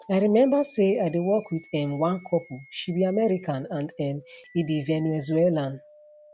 i remember say i dey work wit um one couple she be american and um e be venezuelan